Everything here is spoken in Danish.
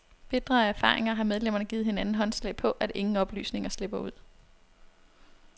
Bitre af erfaringer har medlemmerne givet hinanden håndslag på, at ingen oplysninger slipper ud.